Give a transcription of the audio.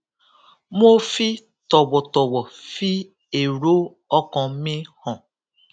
mo fi tòwòtòwò fi èrò ọkàn mi hàn